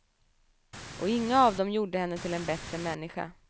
Och inga av dem gjorde henne till en bättre människa.